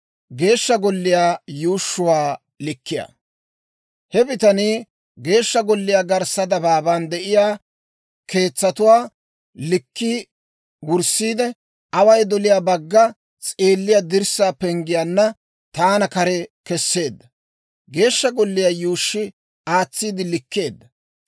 He bitanii Geeshsha Golliyaa garssa dabaaban de'iyaa keetsatuwaa likkii wurssiide, away doliyaa bagga s'eelliyaa dirssaa penggiyaanna taana kare kesseedda. Geeshsha Golliyaa yuushshi aatsiide likkeedda.